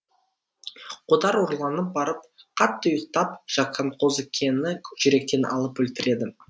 қодар ұрланып барып қатты ұйықтап жатқан қозыкені жүректен атып өлтіреді